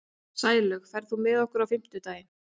Sælaug, ferð þú með okkur á fimmtudaginn?